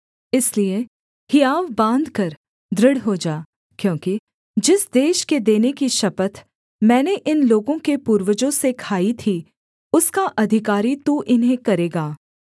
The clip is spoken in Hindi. इसलिए हियाव बाँधकर दृढ़ हो जा क्योंकि जिस देश के देने की शपथ मैंने इन लोगों के पूर्वजों से खाई थी उसका अधिकारी तू इन्हें करेगा